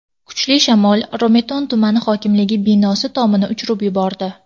Kuchli shamol Romitan tumani hokimligi binosi tomini uchirib yubordi.